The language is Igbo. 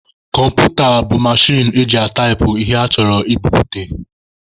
Kọmputa bụ mechin eji ataipụ ihe achọrọ ka ebupute.